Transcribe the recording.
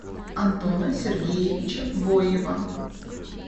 антона сергеевича боева